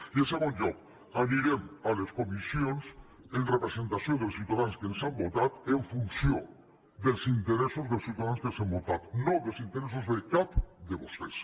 i en segon lloc anirem a les comissions en representació dels ciutadans que ens han votat en funció dels interessos dels ciutadans que ens han votat no dels interessos de cap de vostès